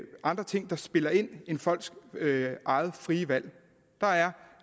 andre ting der spiller ind end folks eget frie valg der er